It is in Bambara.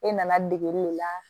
E nana degeli de la